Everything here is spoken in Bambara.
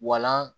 Walan